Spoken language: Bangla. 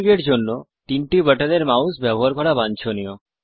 Xfig এর জন্য তিনটি বাটন এর মাউস ব্যবহার করা বাঞ্ছনীয়